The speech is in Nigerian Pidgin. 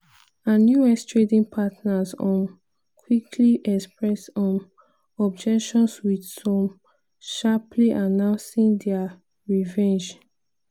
and us trading partners um quickly express um objections wit some sharply announcing dia revenge.